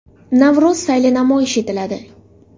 Navro‘z sayli namoyish etiladi.